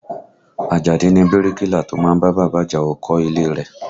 Àjàdí ni bíríkìlà tó má ń bá bàbá Àjàó kọ́ àwọn ilé e rẹ̀